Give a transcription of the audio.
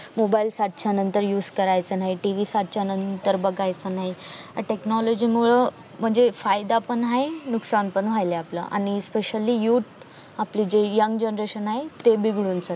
mobile सात च्या नंतर used करायचा नाही TV सात च्या नंतर बागायचा नाही या technology मूळ अं म्हणजे फायदा पण हाय नुकसान पण वायले आपल आणि especially youth आपली जी yangyoung generation हाय ते बिगडून चाल